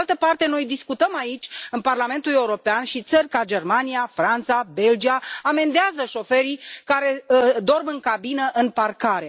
Pe de altă parte, noi discutăm aici, în Parlamentul European, și țări ca Germania, Franța și Belgia amendează șoferii care dorm în cabină în parcare.